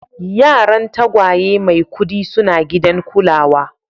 Yaran tagwaye Maikudi suna gidan kulawa.